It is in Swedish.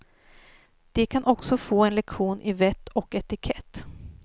De kan också få en lektion i vett och etikett.